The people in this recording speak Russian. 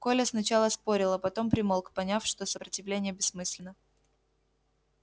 коля сначала спорил а потом примолк поняв что сопротивление бессмысленно